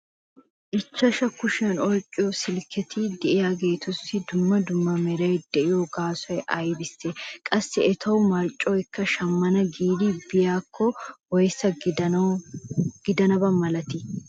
ichchashu kushiyan oyqqiyo silkketi diyaageetussi dumma dumma meray de'iyo gaasoy aybissee? qassi etawu marccoykka shamana giidi biyaakko woyssa gidanaba malatii?